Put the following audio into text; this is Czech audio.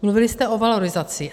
Mluvili jste o valorizaci.